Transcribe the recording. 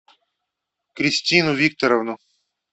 кристину викторовну